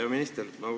Hea minister!